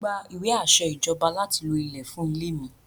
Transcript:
Mo gba ìwé àṣẹ Ìjọba láti lo ilẹ̀ fún ilẹ̀ mi.